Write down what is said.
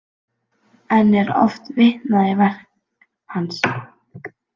Enn er oft vitnað í verk hans.